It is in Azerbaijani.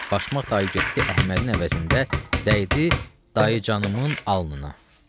Başmaq dayı getdi Əhmədin əvəzində dəydi Dayəcanımın alnına.